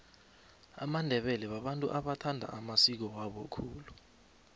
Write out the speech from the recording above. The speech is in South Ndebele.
amandebele babantu abathanda amasiko wabo khulu